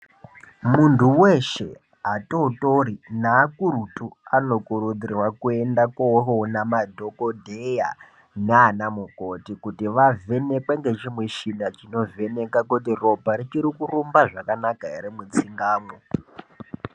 Muntu weshee atootori nevakuru anokurudzirwa kuenda koona madhokodheya naanamukoti kuti vavhenekwe nechimuchina chinovheneka kuti ropa richiri kurumba zvakanaka here mutsinga umwo.